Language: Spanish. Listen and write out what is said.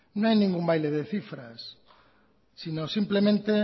no hay ningún baile de cifras sino simplemente